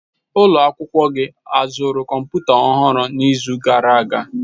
Ụlọ akwụkwọ gị azụrụ kọmputa ọhụrụ n'izu gara aga?